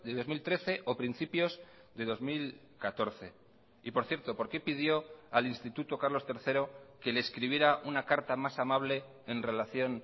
dos mil trece o principios de dos mil catorce y por cierto por qué pidió al instituto carlos tercero que le escribiera una carta más amable en relación